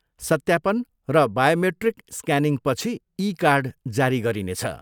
सत्यापन र बायोमेट्रिक स्क्यानिङपछि, ई कार्ड जारी गरिनेछ।